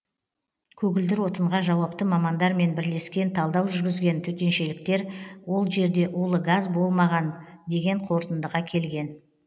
көгілдір отынға жауапты мамандармен бірлескен талдау жүргізген төтеншеліктер ол жерде улы газ болмаған деген қорытындыға келген